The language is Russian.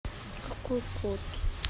какой код